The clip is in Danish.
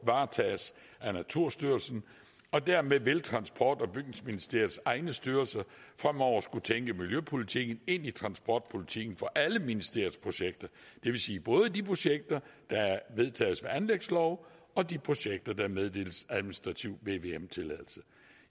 varetages af naturstyrelsen og dermed vil transport og bygningsministeriets egne styrelser fremover skulle tænke miljøpolitikken ind i transportpolitikken for alle ministeriets projekter det vil sige både de projekter der vedtages ved anlægslov og de projekter der meddeles administrativ vvm tilladelse